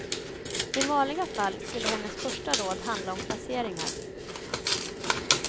I vanliga fall skulle hennes första råd handla om placeringar.